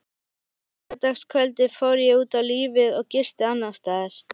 Á laugardagskvöldið fór ég út á lífið og gisti annarsstaðar.